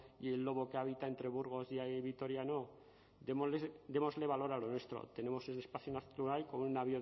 y el lobo habita entre burgos y vitoria no démosle valor a lo nuestro tenemos un espacio natural con una